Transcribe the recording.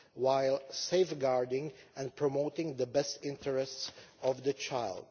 while safeguarding and promoting the best interests of the child.